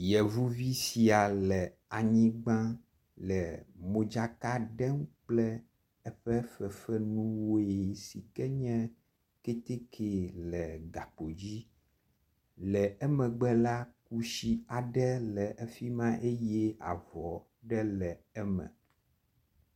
Yevuvi sia le anyigba le modzaka ɖem kple eƒe fefenuwoe sike nye kɛtɛkɛ le gakpo dzi le emegbe la kusi aɖe le efima eye avɔ ɖe le eme